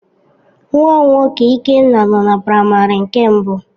Nwam nwoke Ikenna no na primary one.